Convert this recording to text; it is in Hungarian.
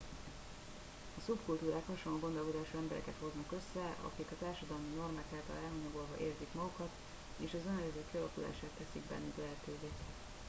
a szubkultúrák hasonló gondolkodású embereket hoznak össze akik a társadalmi normák által elhanyagolva érzik magukat és az önérzet kialakulását teszik bennük lehetőve